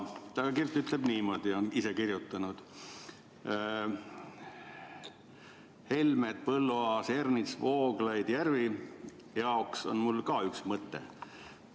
Ta on ise kirjutanud niimoodi: " jaoks on mul ka üks mõte.